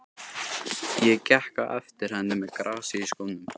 Ég gekk á eftir henni með grasið í skónum!